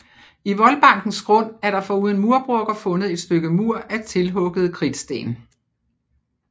I voldbankens grund er der foruden murbrokker fundet et stykke mur af tilhugede kridtsten